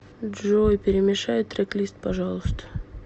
джой перемешай трек лист пожалуйста